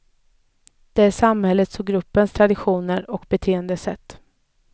Det är samfällighetens och gruppens traditioner och beteendesätt.